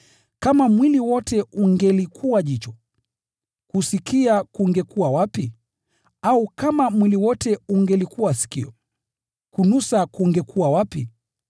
Kama mwili wote ungelikuwa jicho, kusikia kungekuwa wapi? Au kama mwili wote ungelikuwa sikio, kunusa kungekuwa wapi?